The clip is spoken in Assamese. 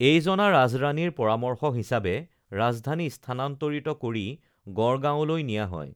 এই জনা ৰাজৰাণীৰ পৰামৰ্শ হিচাবে ৰাজধানী স্থানান্তৰিত কৰি গড়গাঁৱলৈ নিয়া হয়